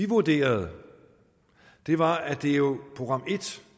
vurderede var at det jo